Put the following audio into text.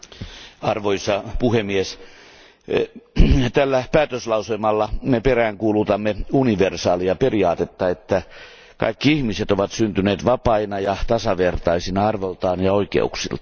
Arvoisa puhemies, tällä päätöslauselmalla me peräänkuulutamme universaalia periaatetta, jonka mukaan kaikki ihmiset ovat syntyneet vapaina ja tasavertaisina arvoltaan ja oikeuksiltaan.